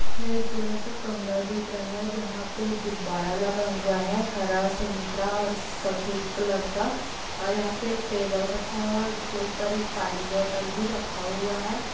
एक बड़ा सा कमरा दिख रहा है जहा पे गुब्बारा लगा हुआ है हरा संतरा और सफ़ेद कलर का और यहाँ पे एक टेबल रखा हुआ है ऊसके ऊपर एक पानी बोतल भी रखा हुआ है।